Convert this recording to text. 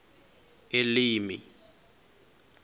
elimi